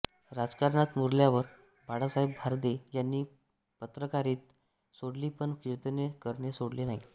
राजकारणात मुरल्यावर बाळासाहेब भारदे यांनी पत्रकारिता सोडली पण कीर्तने करणे सोडले नाही